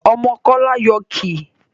Ọmọ kola yóò kí